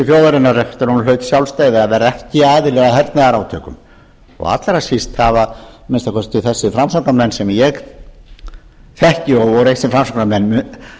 hlaut sjálfstæði að vera ekki aðili að hernaðarátökum og allra síst að minnsta kosti þessir framsóknarmenn sem eg þekki og voru eitt sinn framsóknarmenn